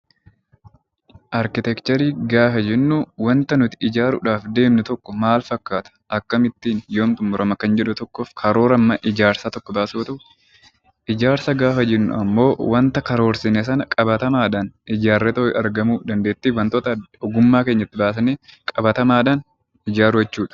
Arkiteekcharii gaafa jennu waanta nuti ijaaruudhaaf deemnu tokko maal fakkaata? Akkamittiin? Yoom xumurama? Kan jedhu tokkoof karoora ijaarsaa tokko baasuuti. Ijaarsa gaafa jennu ammoo waanta karoorsine sana qabatamaadhaan ijaarreetoo argamuu, dandeettii wantoota ogummaa keenya baafnee qabatamaadhaan ijaaruu jechuudha.